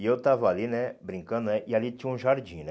E eu estava ali, né, brincando né, e ali tinha um jardim, né?